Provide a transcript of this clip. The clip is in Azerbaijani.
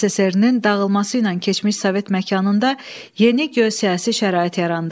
SSR-nin dağılması ilə keçmiş Sovet məkanında yeni geosiyasi şərait yarandı.